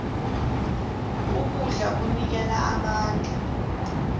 ukudla kunikela amandla